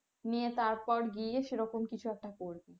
নিয়ে তারপর গিয়ে সেরকম কিছু একটা করবি।